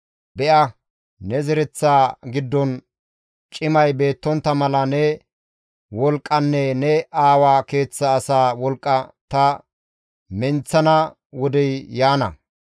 Be7a ne zereththaa giddon cimay beettontta mala ne wolqqanne ne aawa keeththa asaa wolqqa ta menththana wodey yaana.